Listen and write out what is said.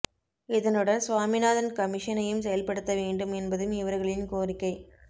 இதனுடன் சுவாமிநாதன் கமிஷனையும் செயல்படுத்த வேண்டும் என்பதும் இவர்களின் கோரிக்கை